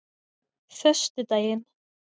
föstudaginn